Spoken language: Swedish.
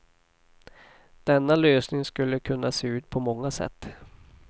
Denna lösning skulle kunna se ut på många sätt.